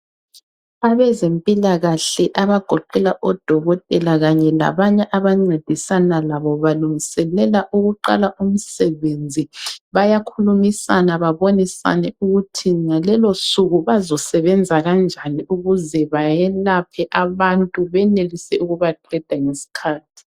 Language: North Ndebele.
Abezempilakahle abagoqela odokotela kanye labanye abancedisana labo balungiselela ukuqala umsebenzi, bayakhulumisana babonisane ukuthi ngalolosuku bazosebenza kanjani ukuze bayelaphe abantu benelise ukubaqeda ngesikhathi.